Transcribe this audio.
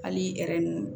Hali